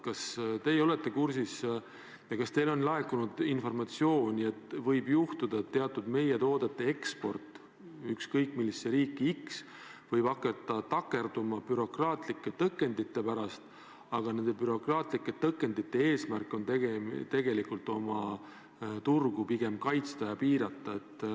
Kas teie olete sellega kursis ja kas teile on laekunud informatsiooni, et võib juhtuda, et teatud meie toodete eksport ükskõik millisesse riiki võib hakata takerduma bürokraatlike tõkendite pärast, aga nende bürokraatlike tõkendite eesmärk on tegelikult oma turgu kaitsta?